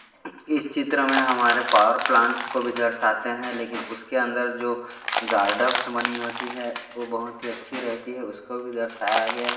इस चित्र मे हमारे पॉवर प्लांट्स को भी दर्शाते है लेकिन उसके अंदर जो गार्डन बनी होती है वो बहुत ही अच्छी रहती है उसको भी दर्शाया गया --